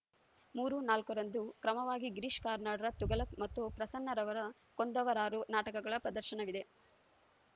ಮೂರು ನಾಲ್ಕರಂದು ಕ್ರಮವಾಗಿ ಗಿರೀಶ್‌ ಕಾರ್ನಾಡರ ತುಘಲಕ್‌ ಮತ್ತು ಪ್ರಸನ್ನರವರ ಕೊಂದವರಾರು ನಾಟಕಗಳ ಪ್ರದರ್ಶನವಿದೆ